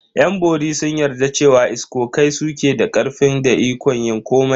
Yan bori sun yarda cewa iskokai su ke da karfi da ikon yin komai.